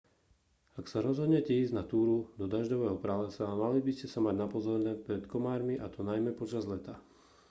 ak sa rozhodnete ísť na túru do dažďového pralesa mali by ste sa mať na pozore pred komármi a to najmä počas leta